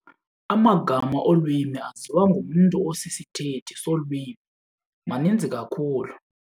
Amagama olwimi aziwa ngumntu osisithethi solwimi maninzi kakhulu.